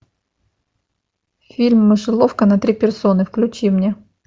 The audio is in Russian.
фильм мышеловка на три персоны включи мне